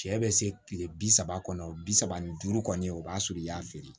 Cɛ bɛ se kile bi saba kɔnɔ bi saba ni duuru kɔni o b'a sɔrɔ i y'a feere